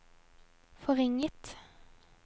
forringet